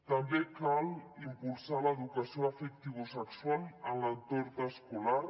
també cal impulsar l’educació afectivosexual en l’entorn escolar